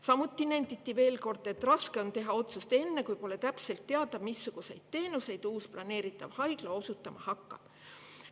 Samuti nenditi, et raske on teha otsust enne, kui pole täpselt teada, missuguseid teenuseid uus planeeritav haigla osutama hakkab.